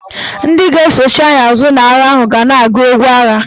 Ndị ga-esochi anyị azụ n'agha ahụ ga na-agụ egwu agha.